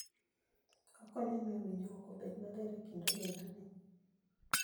Okonyo e miyo winjruok obed maber e kind ogendini.